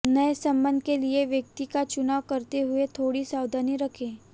नए संबंध के लिए व्यक्ति का चुनाव करते हुए थोड़ी सावधानी रखें